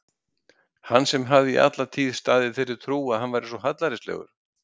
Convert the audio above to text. Hann sem hafði alla tíð staðið í þeirri trú að hann væri svo hallærislegur!